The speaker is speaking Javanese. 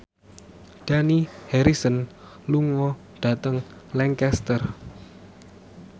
Dani Harrison lunga dhateng Lancaster